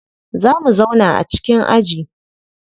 Za mu zauna a cikin aji.